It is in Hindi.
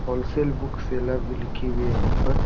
होलसेल बुक सेलर भी लिखी हुई है इन पर।